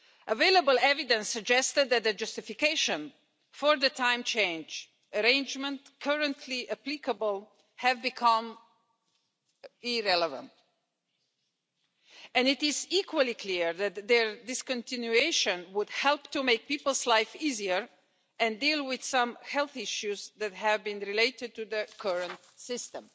Available evidence suggested that the justification for the time change arrangement currently applicable has become irrelevant. It is equally clear that a discontinuation would help to make people's lives easier and deal with some health issues that have been related to the current system.